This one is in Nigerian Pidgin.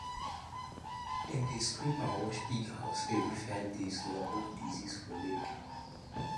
dem dey scrape and wash pig house every five days to avoid disease for leg